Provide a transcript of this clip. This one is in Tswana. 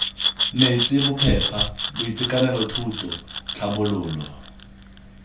metsi bophepa boitekanelo thuto tlhabololo